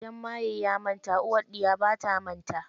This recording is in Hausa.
Idan maye ya manta, uwar ɗiya bata manta.